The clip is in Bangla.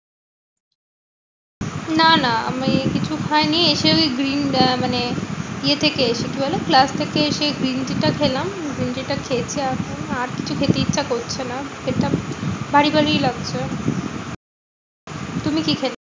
না না মেয়ে কিছু খায়নি। এসে আমি green আহ মানে ইয়েতে খেয়েছি কি বলে? class থেকে এসে green tea টা খেলাম। green tea টা খেয়েছি এখন আর কিছু খেতে ইচ্ছা করছে না। পেট টা ভারী ভারী লাগছে। তুমি কি খেলে?